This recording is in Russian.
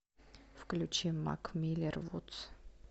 включи мак миллер вудс